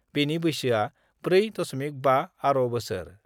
बेनि बैसोआ 4.5 आर' बोसोर।